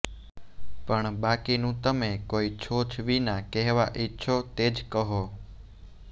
પણ બાકીનું તમે કોઈ છોછ વિના કહેવા ઈચ્છો તે જ કહો